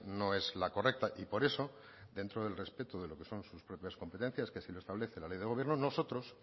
no es la correcta y por eso dentro del respeto de lo que son sus propias competencias que así lo establece la ley de gobierno nosotros